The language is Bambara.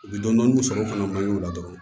U bɛ dɔni dɔni sɔrɔ o fana man ɲi o la dɔrɔn